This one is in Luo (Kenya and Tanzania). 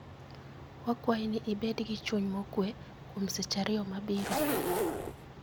Wakwayi ni ibed gi chuny mokuwe kuom seche ariyo mabiro.